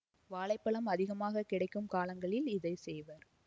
வாழை பழம் அதிகமாக கிடைக்கும் காலங்களில் இதை செய்வர்